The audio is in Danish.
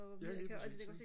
ja lige præcis ikke